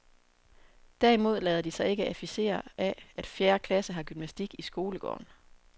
Derimod lader de sig ikke afficere af, at fjerde klasse har gymnastik i skolegården.